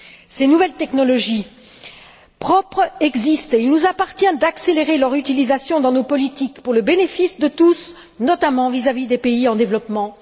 Ces nouvelles technologies propres existent et il nous appartient d'accélérer leur utilisation dans nos politiques pour le bénéfice de tous, notamment des pays en développement.